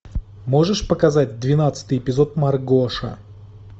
можешь показать двенадцатый эпизод маргоша